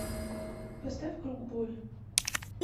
поставь круг боли